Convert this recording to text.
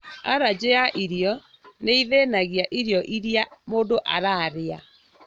Arajĩ ya irio nĩithĩnagia irio irĩa mũndũ ararĩa